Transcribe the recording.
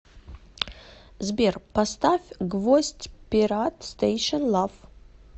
сбер поставь гвоздь пират стэйшн лав